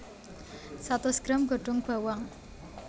Satus gram godhong bawang